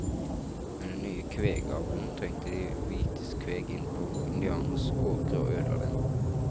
Med den nye kvegavlen trengte de hvites kveg inn på indianernes åkre og ødela dem.